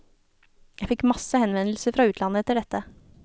Jeg fikk masse henvendelser fra utlandet etter dette.